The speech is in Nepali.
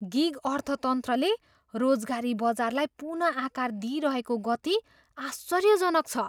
गिग अर्थतन्त्रले रोजगारी बजारलाई पुनः आकार दिइरहेको गति आश्चर्यजनक छ।